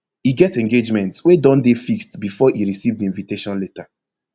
e get engagement wey don dey fixed bifor e receive di invitation letter